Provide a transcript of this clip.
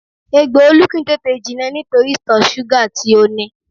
Egbò Olú kìí tètè jinà nítorí ìtọ̀ súgà tí ó ní